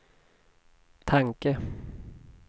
tanke